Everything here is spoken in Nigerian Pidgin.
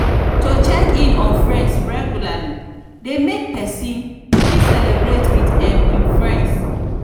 to check in on friends regularly de make persin fit celebrate with um im friends